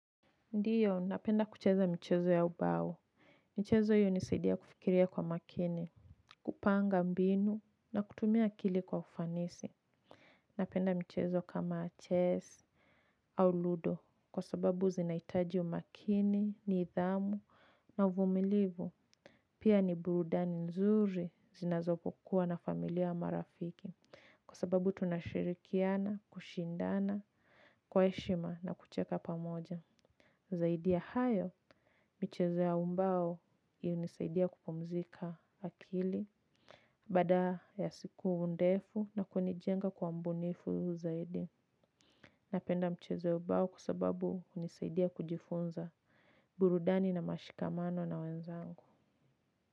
Ndiyo, napenda kucheza michezo ya ubao. Michezo hii hunisaidia kufikiria kwa makini, kupanga mbinu, na kutumia akili kwa ufanisi. Napenda michezo kama chess, au ludo, kwa sababu zinahitaji umakini, nidhamu, na uvumilivu. Pia ni burudani nzuri zinapokuwa na familia ama rafiki. Kwa sababu tunashirikiana, kushindana, kwa heshima na kucheka pamoja. Zaidi ya hayo, michezo ya ubao hunisaidia kupumzika akili baada ya siku ndefu na kunijenga kwa mbunifu zaidi. Napenda michezo ya ubao kwa sababu hunisaidia kujifunza burudani na mashikamano na wenzangu.